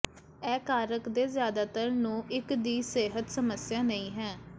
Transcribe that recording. ਇਹ ਕਾਰਕ ਦੇ ਜ਼ਿਆਦਾਤਰ ਨੂੰ ਇੱਕ ਦੀ ਸਿਹਤ ਸਮੱਸਿਆ ਨਹੀ ਹੈ